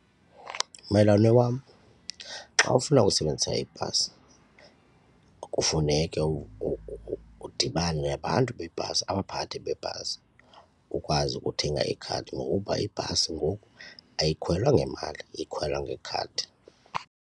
Mmelwane wam, xa ufuna ukusebenzisa ibhasi kufuneke udibane nabantu beebhasi abaphathi beebhasi ukwazi ukuthenga ikhadi ngokuba ibhasi ngoku ayikhwelwa ngemali ikhwelwa ngekhadi.